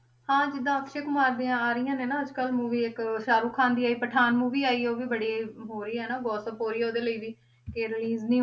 ਹਾਂ ਜਿੱਦਾਂ ਅਕਸ਼ੇ ਕੁਮਾਰ ਦੀਆਂ ਆ ਰਹੀਆਂ ਨੇ ਨਾ ਅੱਜ ਕੱਲ੍ਹ movie ਇੱਕ ਸਾਹਰੁਖ ਖ਼ਾਨ ਦੀ ਆਈ ਪਠਾਨ movie ਆਈ ਹੈ, ਉਹ ਵੀ ਬੜੀ ਹੋ ਰਹੀ ਆ ਨਾ gossip ਹੋ ਰਹੀ ਹੈ ਉਹਦੇ ਲਈ ਵੀ, ਕਿ release ਨੀ ਹੋਣੀ